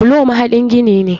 Bulo mahaɗin gini ne.